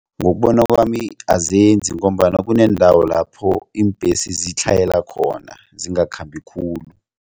Ngokubona kwami azenzi ngombana kuneendawo lapho iimbhesi zitlhayela khona zingakhambi khulu.